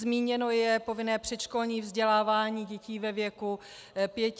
Zmíněno je povinné předškolní vzdělávání dětí ve věku pěti let.